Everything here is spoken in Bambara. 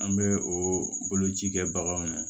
An bɛ o boloci kɛ baganw na